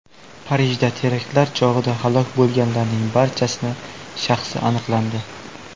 Parijdagi teraktlar chog‘ida halok bo‘lganlarning barchasini shaxsi aniqlandi .